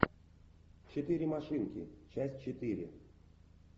четыре машинки часть четыре